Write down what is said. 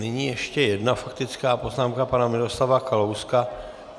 Nyní ještě jedna faktická poznámka pana Miroslava Kalouska.